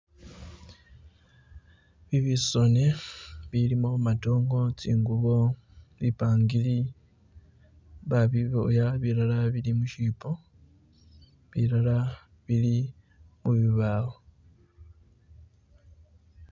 Bibisone bilimo madongo, tsingubo, bipangili babiboya bilala bili mushibo bilala bili mubibawo